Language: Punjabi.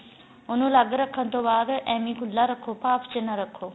ਉਨੂੰ ਅੱਲਗ ਰੱਖਣ ਤੋਂ ਬਾਅਦ ਏਵੈ ਖੁਲਾ ਰੱਖੋ ਭਾਫ ਚ ਨਾ ਰੱਖੋ